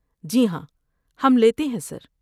جی ہاں، ہم لیتے ہیں، سر۔